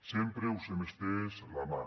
sempre us hem estès la mà